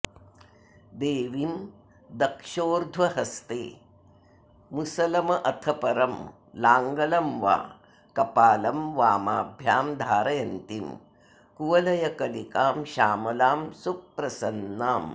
देवीं दक्षोर्ध्वहस्ते मुसलमथपरं लाङ्गलं वा कपालं वामाभ्यां धारयन्तीं कुवलयकलिकां श्यामलां सुप्रसन्नाम्